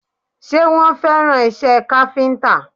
Ṣé wọ́n fẹ́ràn isẹ́ káfíntà?